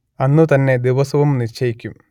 അന്നുതന്നെ ദിവസവും നിശ്ചയിക്കും